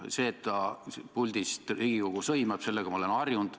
Sellega, et ta puldist Riigikogu sõimab, ma olen harjunud.